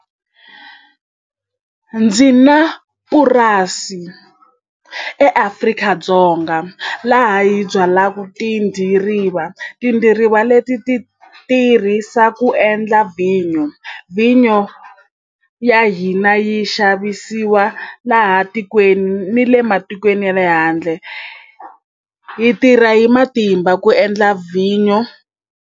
Ndzi na purasi eAfrika-Dzonga laha yi byalaka tidiriva, tidiriva leti ti tirhisa ku endla ya vhinyo, vhinyo ya hina yi xavisiwa laha tikweni ni le matikweni ya le handle hi tirha hi matimba ku endla vhinyo.